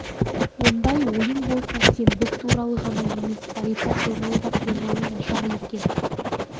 ондай ойың болса сен біз туралы ғана емес зәрипа туралы да пиғылың нашар екен